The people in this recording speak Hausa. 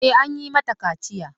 E, an yi mata kaciya.